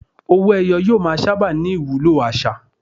Owó-ẹyọ yóò máa sábà ní ìwúlò àṣà.